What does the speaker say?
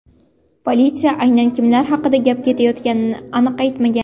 Politsiya aynan kimlar haqida gap ketayotgani aniq aytmagan.